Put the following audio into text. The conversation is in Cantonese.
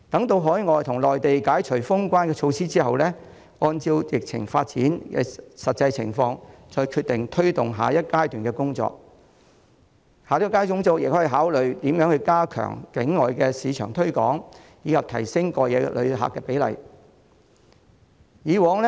待海外及內地解除封關措施後，旅發局可按疫情發展的實際情況再決定如何推動下一階段的工作，包括考慮加強境外市場推廣，以及提升過夜旅客的比例。